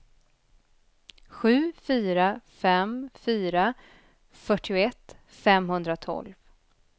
sju fyra fem fyra fyrtioett femhundratolv